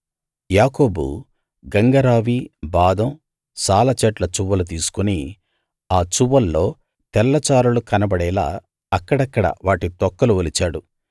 యాకోబు గంగ రావి బాదం సాల చెట్ల చువ్వలు తీసుకు ఆ చువ్వల్లో తెల్లచారలు కనబడేలా అక్కడక్కడ వాటి తొక్కలు ఒలిచాడు